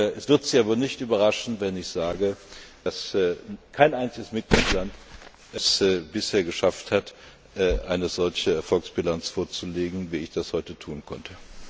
Es wird Sie aber nicht überraschen, wenn ich sage, dass kein einziger Mitgliedstaat es bisher geschafft hat, eine solche Erfolgsbilanz vorzulegen, wie ich das heute tun konnte.